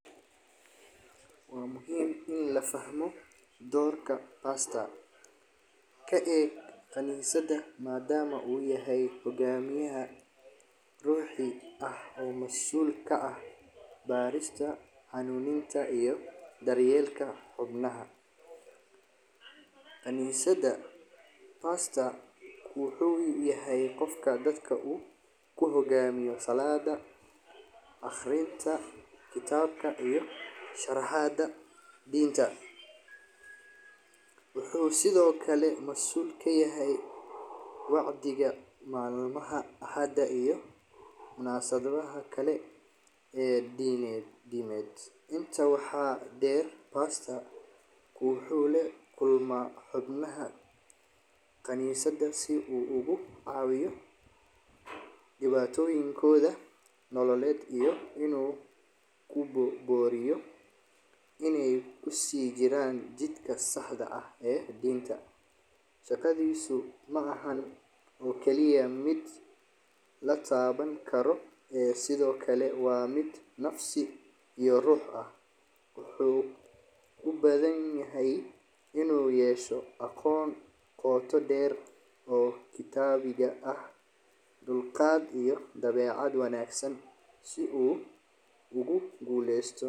Waa muhiim in la fahmo doorka khanisada, oo masuul ka ah barista xubnaha, wuxuu yahay dadka hogamiyaal aqrinta, wuxuu masuul kayahay malimaha axada, wuxuu la kulma xubnaha si uu ugu cawiyo dibatoyin, iyo inaay kusii jiraan jidka saxda, shaqadiisa waa mid nafsi, inuu yeesho aqoon qooto deer, dulqaad iyo aqoon wanagsan si uu guleesto.